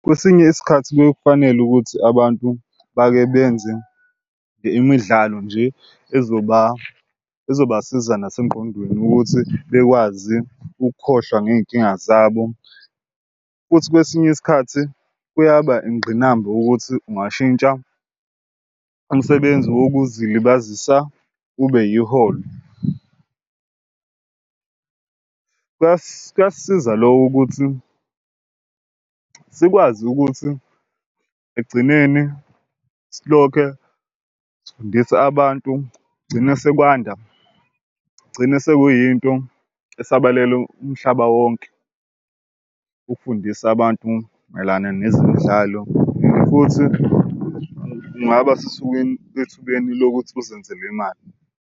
Kwesinye isikhathi kuye kufanele ukuthi abantu bake benze imidlalo nje ezoba ezobasiza nasengqondweni ukuthi bekwazi ukukhohlwa ngey'nkinga zabo. Futhi kwesinye isikhathi kuyaba ingqinamba ukuthi ungashintsha umsebenzi wokuzilibazisa ube yiholo. Kuyasisiza loko ukuthi sikwazi ukuthi ekugcineni silokhe sifundisa abantu gcine sekwanda kugcine sekuyinto esabalele umhlaba wonke ukufundisa abantu mayelana nezemidlalo and futhi ungaba ethubeni lokuthi uzenzele imali.